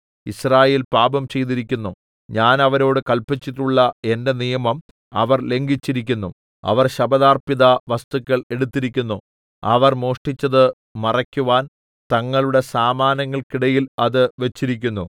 യിസ്രായേൽ പാപം ചെയ്തിരിക്കുന്നു ഞാൻ അവരോട് കല്പിച്ചിട്ടുള്ള എന്റെ നിയമം അവർ ലംഘിച്ചിരിക്കുന്നു അവർ ശപഥാർപ്പിത വസ്തുക്കൾ എടുത്തിരിക്കുന്നു അവർ മോഷ്ടിച്ചത് മറയ്ക്കുവാൻ തങ്ങളുടെ സാമാനങ്ങൾക്കിടയിൽ അത് വെച്ചിരിക്കുന്നു